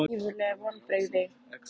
Eru þetta ekki gífurleg vonbrigði?